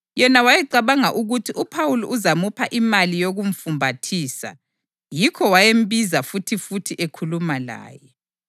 Yena wayecabanga ukuthi uPhawuli uzamupha imali yokumfumbathisa, yikho wayembiza futhifuthi ekhuluma laye.